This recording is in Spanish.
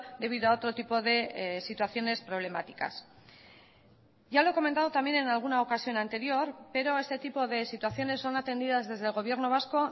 debido a otro tipo de situaciones problemáticas ya lo he comentado también en alguna ocasión anterior pero este tipo de situaciones son atendidas desde el gobierno vasco